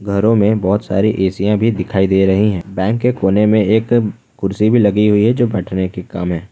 घरों में बहुत सारे एशिया भी दिखाई दे रही हैं बैंक के कोने में एक कुर्सी भी लगी हुई है जो बैठने के काम है।